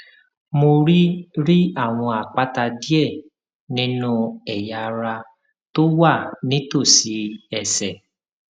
mo rí rí àwọn àpáta díẹ nínú ẹyà ara tó wà nítòsí ẹsè